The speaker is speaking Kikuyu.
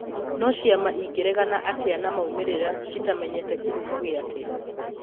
No ciama ĩngeregana atĩa na maumĩrĩra citamenyete kĩhumo gĩake